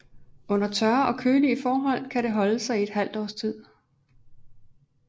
Under tørre og kølige forhold kan det holde sig i et halvt års tid